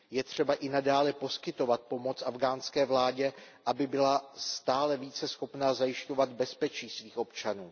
Je třeba i nadále poskytovat pomoc afghánské vládě, aby byla stále více schopna zajišťovat bezpečí svých občanů.